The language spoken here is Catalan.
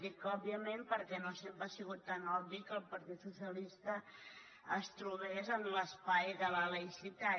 dic òbviament perquè no sempre ha sigut tan obvi que el partit socialista es trobés en l’espai de la laïcitat